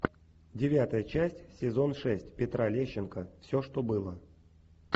девятая часть сезон шесть петра лещенко все что было